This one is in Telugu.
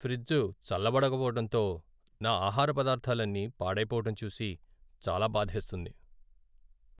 ఫ్రిజ్ చల్లబడకపోవడంతో నా ఆహార పదార్థాలన్నీ పాడైపోవడం చూసి చాలా బాధేస్తుంది.